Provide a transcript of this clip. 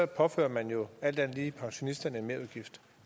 påfører man jo alt andet lige pensionisterne en merudgift